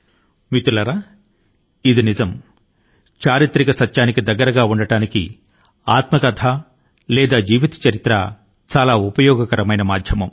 మిత్రులారా చరిత్ర యొక్క ఖచ్చితత్వాన్ని దగ్గర గా తెలుసుకోవడానికి ఆత్మకథ లేదా జీవిత చరిత్ర చాలా ఉపయోగకరమైన సాధనం